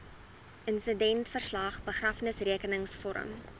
insidentverslag begrafnisrekenings vorm